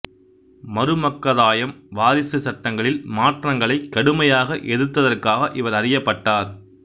மருமக்கதாயம் வாரிசு சட்டங்களில் மாற்றங்களை கடுமையாக எதிர்த்ததற்காக இவர் அறியப்பட்டார்